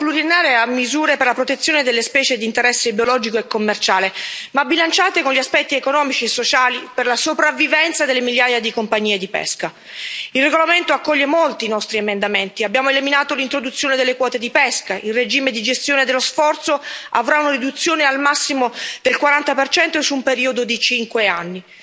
Signor Presidente, onorevoli colleghi, questo piano pluriennale ha misure per la protezione delle specie di interesse biologico e commerciale, ma bilanciate con gli aspetti economici e sociali per la sopravvivenza delle migliaia di compagnie di pesca. Il regolamento accoglie molti nostri emendamenti abbiamo eliminato l'introduzione delle quote di pesca, il regime di gestione dello sforzo avrà una riduzione al massimo del 40 su un periodo di cinque anni.